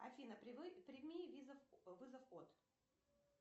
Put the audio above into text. афина прими вызов от